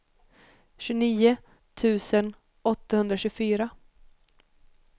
tjugonio tusen åttahundratjugofyra